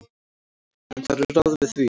En það eru ráð við því.